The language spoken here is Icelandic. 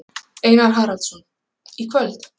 Einar Haraldsson: Í kvöld?